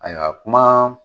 Ayiwa kuma